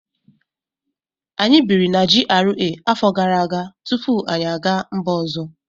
Anyị biri na GRA afọ gara aga tupu anyị aga mba ọzọ